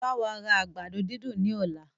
Báwa ra àgbàdo dídùn ní ọ̀la!